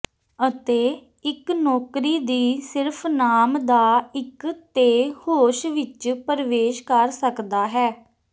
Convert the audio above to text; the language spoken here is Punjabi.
ਅਤੇ ਇੱਕ ਨੌਕਰੀ ਦੀ ਸਿਰਫ਼ ਨਾਮ ਦਾ ਇੱਕ ਤੇ ਹੋਸ਼ ਵਿੱਚ ਪ੍ਰਵੇਸ਼ ਕਰ ਸਕਦਾ ਹੈ